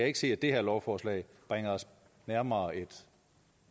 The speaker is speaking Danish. ikke se at det her lovforslag bringer os nærmere et